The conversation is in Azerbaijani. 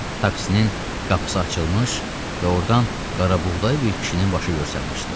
Taksiyanın qapısı açılmış və ordan qarabuğdayı bir kişinin başı görsənməmişdi.